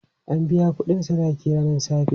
An biya kuɗin sadakin ranan safe.